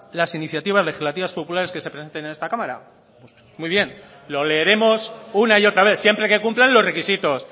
las iniciativas legislativas populares que se presenten en esta cámara pues muy bien lo leeremos una y otra vez siempre que cumplan los requisitos